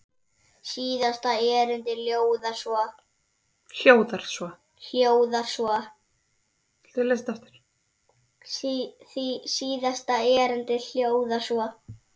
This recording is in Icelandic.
Síðasta erindið hljóðar svo